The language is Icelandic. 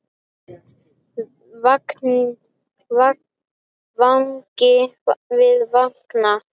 Vangi við vanga.